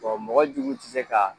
Bon mɔgɔ jugu tɛ se ka